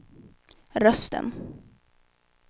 rösten